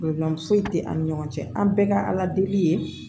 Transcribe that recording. foyi tɛ an ni ɲɔgɔn cɛ an bɛɛ ka ala deli ye